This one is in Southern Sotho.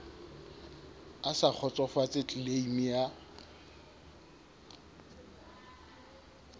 a sa kgotsofatse tleleime ya